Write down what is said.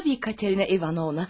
Ay tabii Katerina İvanovna.